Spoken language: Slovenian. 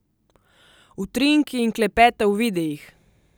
Utrinki in klepeta v videih!